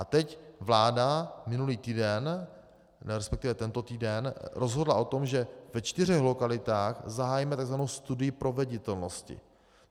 A teď vláda, minulý týden, respektive tento týden, rozhodla o tom, že ve čtyřech lokalitách zahájíme takzvanou studii proveditelnosti.